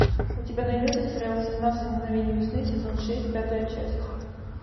у тебя найдется сериал семнадцать мгновений весны сезон шесть пятая часть